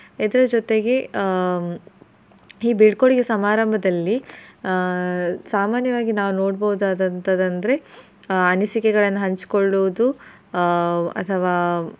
ಇದರ್ ಜೊತೆಗೆ ಆಹ್ ಈ ಬೀಳ್ಕೊಡುಗೆ ಸಮಾರಂಭದಲ್ಲಿ ಆಹ್ ಸಾಮಾನ್ಯವಾಗಿ ನಾವ್ ನೋಡ್ಬಹುದಾದಂತಹದ್ ಅಂದ್ರೆ ಅನಿಸಿಕೆಗಳನ್ನ ಹಂಚಕೊಳ್ಳೋದು ಆಹ್ ಅಥವಾ.